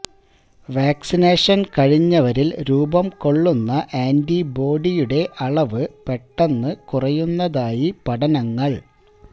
വാക്സിനേഷന് കഴിഞ്ഞവരില് രൂപം കൊള്ളുന്ന ആന്റിബോഡിയുടെ അളവ് പെട്ടെന്ന് കുറയുന്നതായി പഠനങ്ങള്